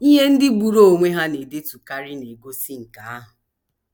Ihe ndị gburu onwe ha na - edetukarị na - egosi nke ahụ.